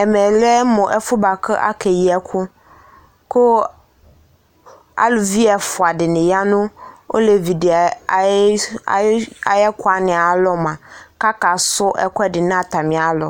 Ɛmɛ lɛ mʋ ɛfʋ yɛ bʋa kʋ akeyi ɛkʋ kʋ aluvi ɛfʋa dɩnɩ ya nʋ olevi dɩ ayɩ ayɩ ayʋ ɛkʋ wanɩ ayalɔ mʋa, akasʋ ɛkʋɛdɩ nʋ atamɩalɔ